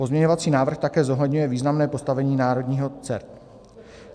Pozměňovací návrh také zohledňuje významné postavení národního CERT.